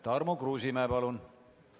Tarmo Kruusimäe, palun!